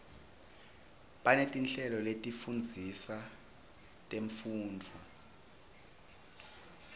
banetinhlelo letifundzisa temfundvo